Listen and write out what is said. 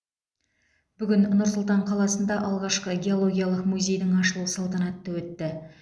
бүгін нұр сұлтан қаласында алғашқы геологиялық музейдің ашылу салтанаты өтті